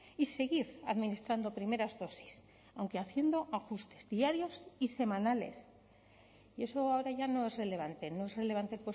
y seguir administrando primeras dosis aunque haciendo ajustes diarios y semanales y eso ahora ya no es relevante no es relevante